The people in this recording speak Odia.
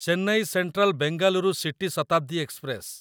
Chennai central Bengaluru city Shatabdi express